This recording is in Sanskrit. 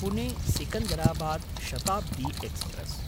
पुणे–सिकन्दराबाद् शताब्दी एक्स्प्रेस्